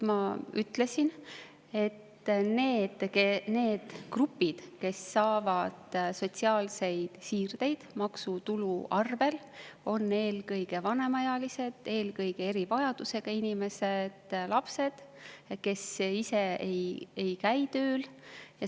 Ma ütlesin, et need grupid, kes saavad sotsiaalseid siirdeid maksutulu arvel, on eelkõige vanemaealised, eelkõige erivajadusega inimesed, lapsed, kes ei käi tööl.